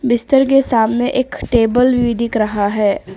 बिस्तर के सामने एक टेबल भी दिख रहा है।